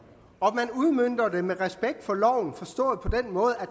og man udmønter det med respekt for loven forstået på den måde